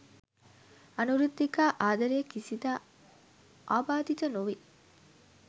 අනුරුද්ධිකා ආදරය කිසිදා ආබාධිත නොවේ